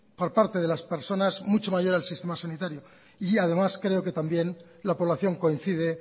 por parte de las personas mucho mayor en el sistema sanitario y además creo que también la población coincide